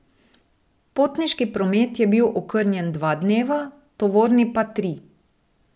Potniški promet je bil okrnjen dva dneva, tovorni pa tri.